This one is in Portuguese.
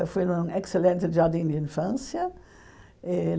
Eu fui num excelente jardim de infância.